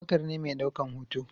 Abubakar ne mai daukan hoto